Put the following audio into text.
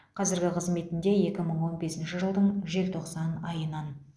қазіргі қызметінде екі мың он бесінші жылдың желтоқсан айынан